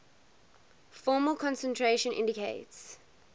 formal concentration indicates